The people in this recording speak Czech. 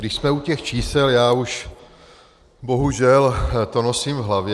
Když jsme u těch čísel, já už bohužel to nosím v hlavě.